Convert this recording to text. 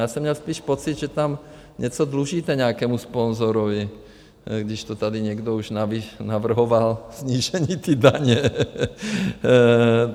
Já jsem měl spíš pocit, že tam něco dlužíte nějakému sponzorovi, když to tady někdo už navrhoval, snížení té daně.